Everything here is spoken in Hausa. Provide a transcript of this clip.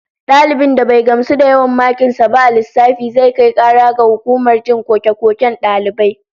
Dalibin da bai gamsu da yawan makin sa ba a lissafi, zai kai kara ga hukumar jin koke-koken dalibai